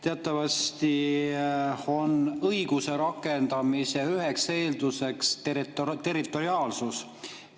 Teatavasti on õiguse rakendamise üheks eelduseks territoriaalsus.